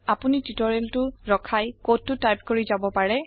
আপোনি টিওটৰিয়েলটো ৰখাই কডটো টাইপ কৰি যাব পাৰে